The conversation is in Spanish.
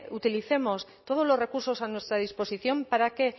utilicemos todos los recursos a nuestra disposición para que